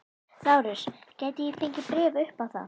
LÁRUS: Gæti ég fengið bréf upp á það?